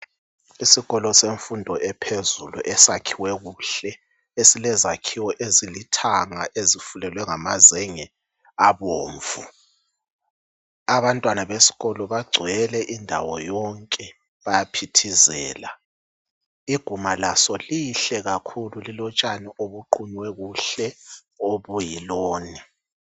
Isikolo semfundo yaphezulu, esakhiwe kuhle. Esilezakhiwo ezilithanga. Ezifulelwe ngamazenge abomvu. Abantwana besikolo bagcwele. Bayaphithìzela. Iguma kaso lihle kakhulu! Lilotshani obuqunywe kuhle. Obuyilawn.